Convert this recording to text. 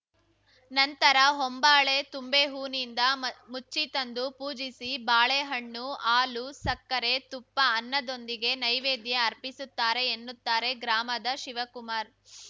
ನಂತರ ಹೊಂಬಾಳೆ ತುಂಬೆ ಹೋನಿಂದ ಮ ಮುಚ್ಚಿ ತಂದು ಪೂಜಿಸಿ ಬಾಳೆಹಣ್ಣು ಹಾಲು ಸಕ್ಕರೆ ತುಪ್ಪ ಅನ್ನದೊಂದಿಗೆ ನೈವೇದ್ಯ ಅರ್ಪಿಸುತ್ತಾರೆ ಎನ್ನುತ್ತಾರೆ ಗ್ರಾಮದ ಶಿವಕುಮಾರ್‌